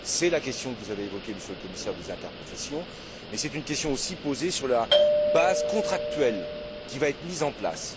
C'est la question que vous avez évoquée, Monsieur le Commissaire, des interprofessions, mais c'est aussi la question de la base contractuelle qui va être mise en place.